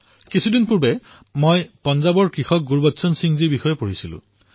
কিছুদিন পূৰ্বে মই পাঞ্জাৱৰ কৃষক ভাতৃ গুৰবচন সিংজীৰ বিষয়ে অধ্যয়ন কৰি আছিলো